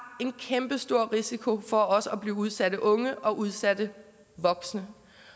en kæmpestor risiko for også at blive udsatte unge og udsatte voksne